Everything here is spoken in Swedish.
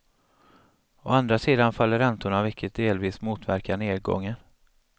Å andra sidan faller räntorna vilket delvis motverkar nedgången.